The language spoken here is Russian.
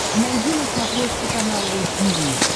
найди на смотрешке канал ру ти ви